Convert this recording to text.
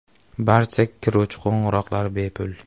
Barcha kiruvchi qo‘ng‘iroqlar bepul.